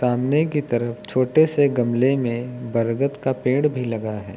सामने की तरफ छोटे से गमले में बरगद का पेड़ भी लगा है।